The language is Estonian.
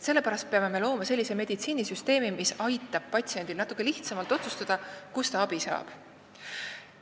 Sellepärast me peame looma sellise süsteemi, mis aitab tal natuke lihtsamini otsustada, kust ta abi saab.